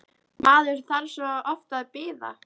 Maður þarf svo oft að bíða!